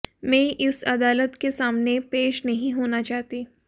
मैं इस अदालत के सामने पेश नहीं होना चाहती